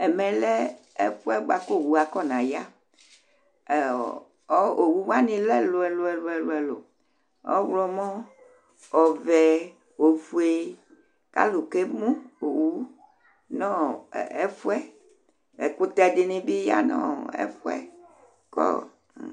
Ɛmɛ lɛ ɛfʋ yɛ bʋa kʋ owu akɔnaya Ɛ ɔ owu wanɩ lɛ ɛlʋ-ɛlʋ: ɔɣlɔmɔ, ɔvɛ, ofue kʋ alʋ kemu owu nʋ ɔ ɛfʋ yɛ Ɛkʋtɛ dɩnɩ bɩ ya nʋ ɔ ɛfʋ yɛ kʋ ɔ